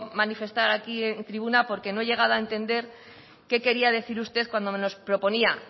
manifestar aquí en tribuna porque no he llegado a entender qué quería decir usted cuando nos proponía